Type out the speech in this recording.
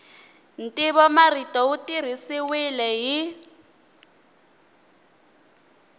ntivomarito wu tirhisiwile hi